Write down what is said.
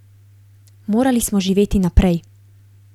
Morali smo živeti naprej.